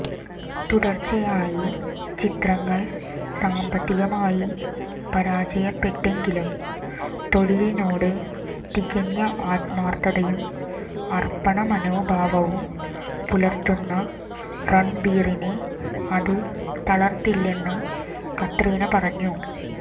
തുടർച്ചയായി ചിത്രങ്ങൾ സാമ്പത്തികമായി പരാജയപ്പെട്ടെങ്കിലും തൊഴിലിനോട് തികഞ്ഞ ആത്മാർത്ഥതയും അർപ്പണ മനോഭാവവും പുലർത്തുന്ന രൺബീറിനെ അത് തളർത്തില്ലെന്ന് കത്രീന പറഞ്ഞു